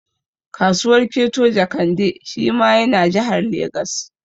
Kasuwar Keto Jekande shi ma ya na Jahar Legas